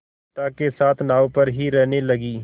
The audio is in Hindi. पिता के साथ नाव पर ही रहने लगी